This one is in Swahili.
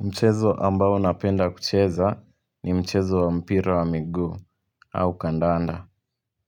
Mchezo ambao napenda kucheza ni mchezo wa mpira wa miguu au kandanda